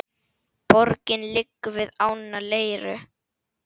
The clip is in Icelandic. Borgin liggur við ána Leiru.